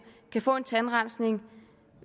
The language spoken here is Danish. kan få en tandrensning